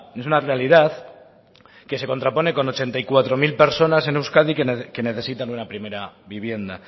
es una realidad que se contrapone con ochenta y cuatro mil personas en euskadi que necesitan una primera vivienda